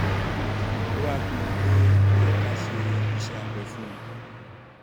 ó wá pinnu pé ó yẹ ká ṣe iṣẹ́ abẹ fún un